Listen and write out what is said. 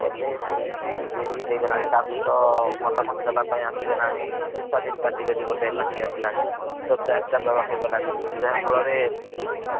ଏବେ BJP BJD ହେଇଗଲାଣି ତା ସହିତ ମତାମତ ଦେବା ପାଇଁ ଆସିଗଲାଣି ସ୍ୱାଧିନ୍‌ ପାର୍ଥୀ ବୋଲି ଗୋଟେ party ଆସିଲାଣୀ। ତ ଚାରିଟା ଦଳ ହେଇ ଗଲାଣି ଆଜ୍ଞା। ଯାହା ଫଳ ରେ